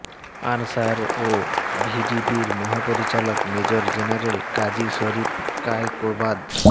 answer ও ভিডিপির মহাপরিচালক মেজর জেনারেল কাজী শরীফ কায়কোবাদ